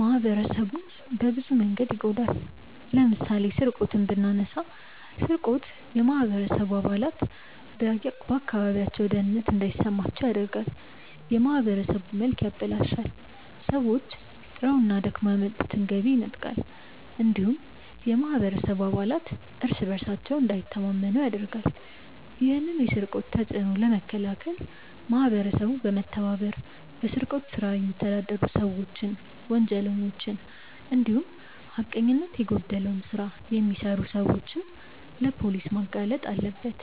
ማህበረሰቡን በብዙ መንገድ ይጎዳል። ለምሳሌ ስርቆትን ብናነሳ ስርቆት የማህበረሰቡ አባላት በአካባቢያቸው ደህንነት እንዳይሰማቸው ያደርጋል፣ የማህበረሰቡን መልክ ያበላሻል፣ ሰዎች ጥረውና ደክመው ያመጡትን ገቢ ይነጥቃል እንዲሁም የማህበረሰቡ አባላት እርስ በእርሳቸው እንዳይተማመኑ ያደርጋል። ይህን የስርቆት ተጽዕኖ ለመከላከል ማህበረሰቡ በመተባበር በስርቆት ስራ የሚተዳደሩ ሰዎችን፣ ወንጀለኞችን እንዲሁም ሀቀኝነት የጎደለው ስራ የሚሰሩ ሰዎችን ለፖሊስ ማጋለጥ አለበት።